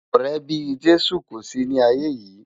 Òrè bi Jesu kó si ni áiyé yi